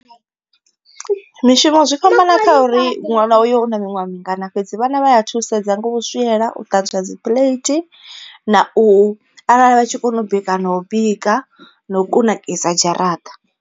Mishumo zwi fhambana kha uri ṅwana uyo una miṅwaha mingana fhedzi vhana vha ya thusedza nga u swiela, u ṱanzwa dzi plate na u arali vha tshi kona u bika na u bika na u kunakisa dzharaṱa.